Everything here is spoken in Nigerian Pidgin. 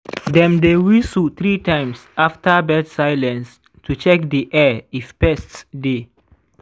dem dey whistle three times after bird silence to check di air if pests dey.